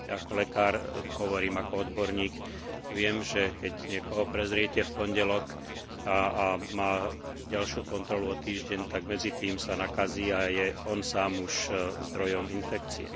Ako lekár hovorím, ako odborník viem, že keď niekoho prezriete v pondelok a má ďalšiu kontrolu o týždeň, tak medzitým sa nakazí a je už on sám zdrojom infekcie.